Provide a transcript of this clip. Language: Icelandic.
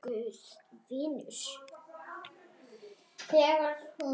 Guð vinnur.